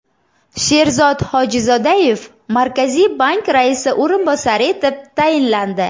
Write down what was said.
Sherzod Hojizodayev Markaziy bank raisi o‘rinbosari etib tayinlandi.